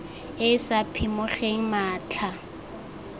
e e sa phimogeng matlha